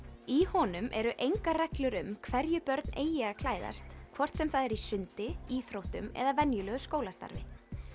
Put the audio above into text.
í honum eru engar reglur um hverju börn eigi að klæðast hvort sem það er í sundi íþróttum eða venjulegu skólastarfi